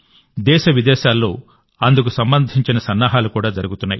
దేశ విదేశాల్లో అందుకు సంబంధించిన సన్నాహాలు జరుగుతున్నాయి